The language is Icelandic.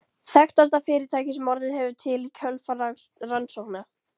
Þekktasta fyrirtækið sem orðið hefur til í kjölfar rannsókna